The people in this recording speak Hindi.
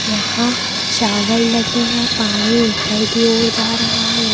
यहां शावल लगे हैं पानी ऊपर की ओर जा रहा है।